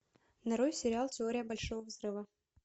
нарой сериал теория большого взрыва